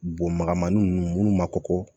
Bon magama ni nunnu munnu ma kɔkɔ